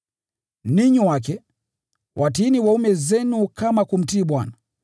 Ninyi wake, watiini waume zenu kama kumtii Bwana.